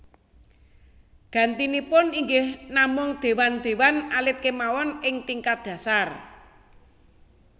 Gantinipun inggih namung déwan déwan alit kémawon ing tingkat dhasar